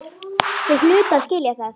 Þeir hlutu að skilja það.